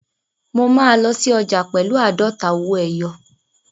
Mo máa lọ sí ọjà pẹ̀lú àádọ́ta owó ẹyọ.